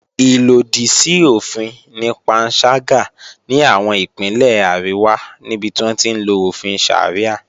Ìlòdì sí òfin ni panṣágà ní àwọn Ìpínlẹ̀ àríwá níbi tí wọ́n ti ń lo òfin Sharia